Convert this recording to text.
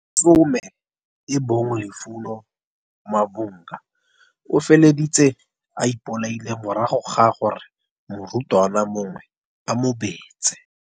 10 e bong Lufuno Mavhunga, o feleditse a ipolaile morago ga gore morutwana mongwe a mobetse.